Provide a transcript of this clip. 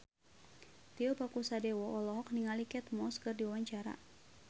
Tio Pakusadewo olohok ningali Kate Moss keur diwawancara